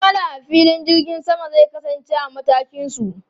Ma'amala a filin jirgin sama zai kasance a matakin su.